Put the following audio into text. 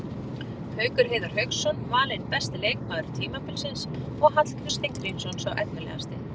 Haukur Heiðar Hauksson valinn besti leikmaður tímabilsins og Hallgrímur Steingrímsson sá efnilegasti.